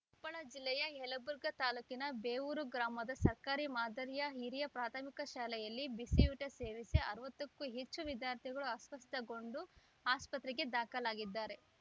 ಕೊಪ್ಪಳ ಜಿಲ್ಲೆಯ ಯಲಬುರ್ಗಾ ತಾಲೂಕಿನ ಬೇವೂರು ಗ್ರಾಮದ ಸರ್ಕಾರಿ ಮಾದರಿಯ ಹಿರಿಯ ಪ್ರಾಥಮಿಕ ಶಾಲೆಯಲ್ಲಿ ಬಿಸಿಯೂಟ ಸೇವಿಸಿ ಅರವತ್ತು ಕ್ಕೂ ಹೆಚ್ಚು ವಿದ್ಯಾರ್ಥಿಗಳು ಅಸ್ವಸ್ಥಗೊಂಡು ಆಸ್ಪತ್ರೆಗೆ ದಾಖಲಾಗಿದ್ದಾರೆ